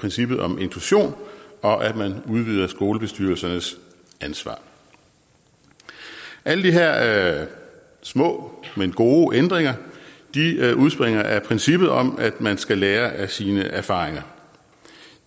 princippet om inklusion og at man udvider skolebestyrelsernes ansvar alle de her små men gode ændringer udspringer af princippet om at man skal lære af sine erfaringer